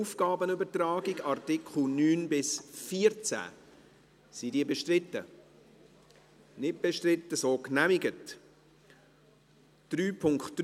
Aufgabenübertragung / 3.2.2 Délégation des tâches Art. 9–14 Angenommen